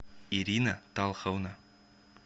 ирина талховна